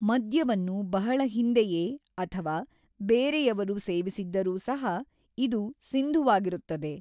ಮದ್ಯವನ್ನು ಬಹಳ ಹಿಂದೆಯೇ ಅಥವಾ ಬೇರೆಯವರು ಸೇವಿಸಿದ್ದರೂ ಸಹ ಇದು ಸಿಂಧುವಾಗಿರುತ್ತದೆ.